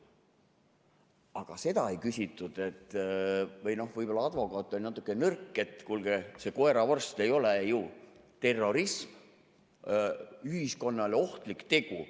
Aga seda ei küsitud, või võib-olla advokaat oli natukene nõrk, et kuulge, see koeravorsti ei ole ju terrorism, ühiskonnale ohtlik tegu.